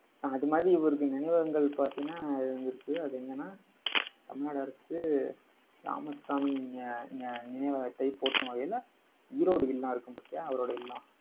அது மாதிரி, இவருக்கு நினைவகங்கள் பாத்தீங்கன்னா இருக்கு. அது எங்கென்னா தமிழ்நாடு அரசு ராமசாமி நி~ நி~ நினைவகத்தை போற்றும் வகையில ஈரோடு இல்லம் இருக்கும் பாத்தியா, அவரோட இல்லம்.